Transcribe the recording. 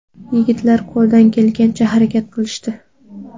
Yigitlar qo‘ldan kelgancha harakat qilishdi.